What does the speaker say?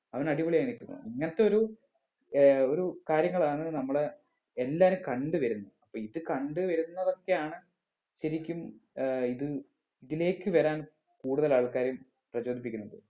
അവന് അടിപൊളി ആയി നിക്കുന്നു ഇങ്ങനത്തെ ഒരു ഏർ ഒരു കാര്യങ്ങളാണ് നമ്മടെ എല്ലാരും കണ്ട് വരുന്നത് അപ്പൊ ഇത് കണ്ട് വരുന്നവർക്കാണ് ശരിക്കും ഏർ ഇത് ഇതിലേക്ക് വരാൻ കൂടുതൽ ആൾക്കാരും പ്രചോദിപ്പിക്കുന്നത്